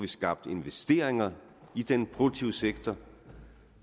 skabt investeringer i den produktive sektor